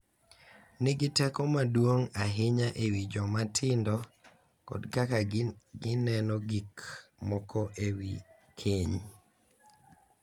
Nigi teko maduong’ ahinya e wi joma tindo kod kaka gineno gik moko e wi keny.